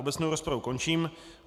Obecnou rozpravu končím.